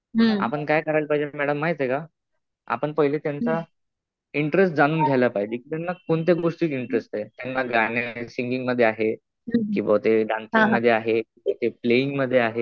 आपण काय करायला पाहिजे मॅडम माहितीये का, आपण पहिले त्यांचा इंटरेस्ट जाणून घायला पाहिजे. त्यांना कोणत्या गोष्टीत इंटरेस्ट आहे. त्यांना गाण्यात, सिंगिंग मध्ये आहे. कि बहुतेक डान्सिंग मध्ये आहे, प्लेइयिंग मध्ये आहे.